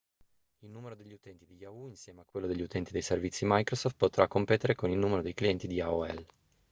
il numero degli utenti di yahoo insieme a quello degli utenti dei servizi microsoft potrà competere con il numero di clienti di aol